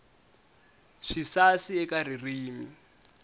swisasi eka ririmi